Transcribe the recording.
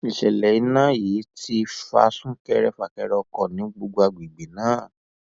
ìṣẹlẹ iná yìí ti fa súnkẹrẹfàkẹrẹ ọkọ ní gbogbo agbègbè náà